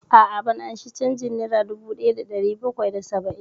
A'a, ban ansa canjin nera dubu ɗaya da ɗari bakwai da saba'in